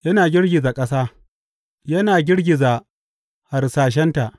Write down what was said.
Yana girgiza ƙasa, yana girgiza harsashenta.